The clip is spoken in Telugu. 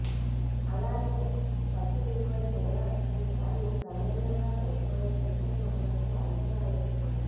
అలాగే పత్తి దిగుబడి కూడా ఈసారి గణనీయంగా పడిపోయే సూచనలు ఉన్నట్టు అంచనా వేస్తున్నారు